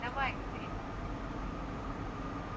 давай говорит он тихо